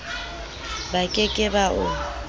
ba ke ke ba o